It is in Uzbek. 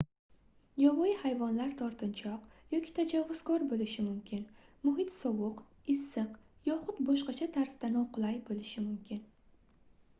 yovvoyi hayvonlar tortinchoq yoki tajovuzkor boʻlishi mumkin muhit sovuq issiq yoxud boshqacha tarzda noqulay boʻlishi mumkin